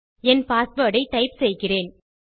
என் password ஐ type செய்கிறேன்